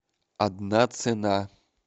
одна цена